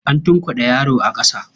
An tunkuɗe yaro a ƙasa.